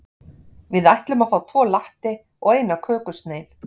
Við ætlum að fá tvo latte og eina kökusneið.